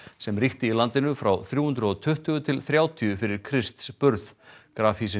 sem ríkti í landinu frá þrjú hundruð og tuttugu til þrjátíu fyrir Krists burð